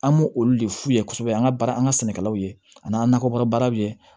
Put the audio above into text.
An m'olu de f'u ye kosɛbɛ an ka baara an ka sɛnɛkɛlaw ye ani an ka nakɔ kɔrɔ baaraw bɛ ye